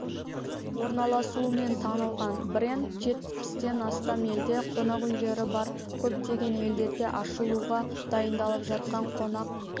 орналасуымен танылған бренд жетпістен астам елде қонақ үйлері бар көптеген елдерде ашылуға дайындалып жатқан қонақ